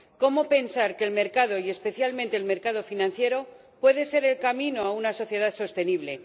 ¿Cómo pensar que el mercado, y especialmente el mercado financiero, puede ser el camino a una sociedad sostenible?